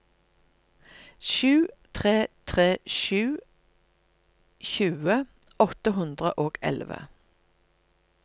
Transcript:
sju tre tre sju tjue åtte hundre og elleve